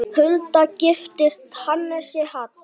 Hulda giftist Hannesi Hall.